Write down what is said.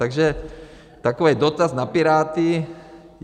Takže takový dotaz na Piráty.